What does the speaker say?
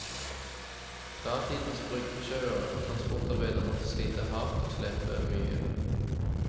Datidens bryggesjauere og transportarbeidere måtte slite hard og slepe mye.